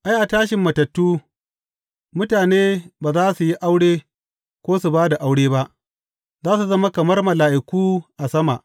Ai, a tashin matattu, mutane ba za su yi aure ko su ba da aure ba; za su zama kamar mala’iku a sama.